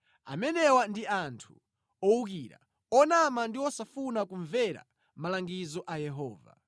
Amenewa ndi anthu owukira, onama ndi osafuna kumvera malangizo a Yehova.